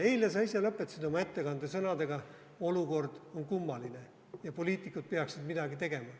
Eile sa ise lõpetasid oma ettekande sõnadega: olukord on kummaline ja poliitikud peaksid midagi tegema.